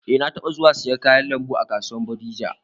Eh, na taɓa zuwa siyan kayan lambu a kasuwar bodija